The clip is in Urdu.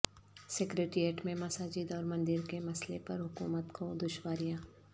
سکریٹریٹ میں مساجد اور مندر کے مسئلہ پر حکومت کو دشواریاں